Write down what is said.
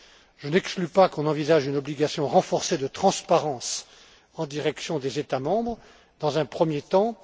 Je n'exclus pas qu'on envisage une obligation renforcée de transparence en direction des États membres dans un premier temps.